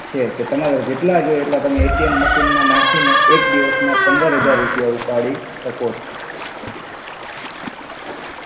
છે કે તમારે જેટ્લા જોઇ એટ્લા તમે અએટિએમ મસિન મા નાખીને એક દિવસ ના પંદર હજાર રુપિયા ઉપાડી સકો છો.